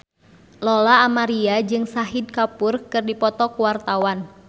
Lola Amaria jeung Shahid Kapoor keur dipoto ku wartawan